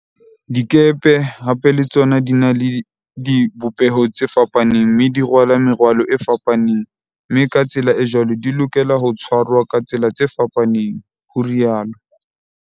"Dikepe hape le tsona di na le di bopeho tse fapaneng mme di rwala merwalo e fapaneng, mme ka tsela e jwalo di lokela ho tshwarwa ka tsela tse fapaneng," ho ri alo